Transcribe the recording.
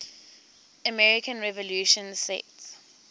american revolution set